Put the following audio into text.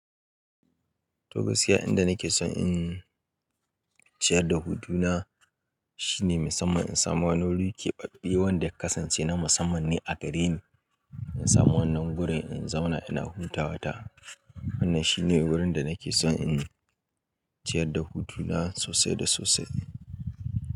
To gaskiya inda nake son in ciyar da hudu na shine musamman in samu wani wuri keɓaɓe wanda ya kasance na musamman ne a gare ni. In samu wannan wurin in zauna ina humta wata. Wannan shine wurin da nake son in ciyar da hudu na sosai da sosai.